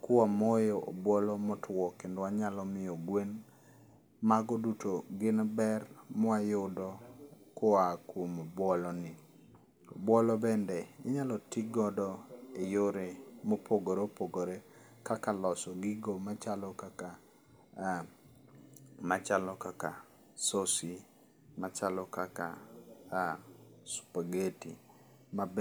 Kwamoyo obuolo motwo kendo wanyalo miyo gwen. Mago duto gin ber mawayudo koa kuom obuoloni. Obuolo bende inyalo ti godo eyore mopogore opogore kaka loso gigo machalo kaka ah, machalo kaka sosi, machalo kaka ah spageti mabe